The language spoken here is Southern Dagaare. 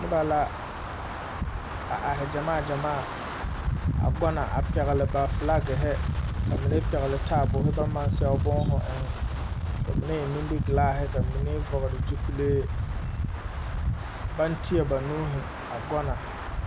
Noba la are gyamaa lɛ kyɛ pɛgle filakere. Ba pɛglɛɛ taaboore ka sɛgre be a pʋɔ.A noba mine eŋ la nimikyaane kyɛ ka ba mine vɔgle zupille. Ba mine meŋ teɛ la ba nuure.